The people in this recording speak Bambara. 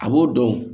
A b'o dɔn